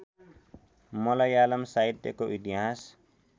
मलयालम साहित्यको इतिहास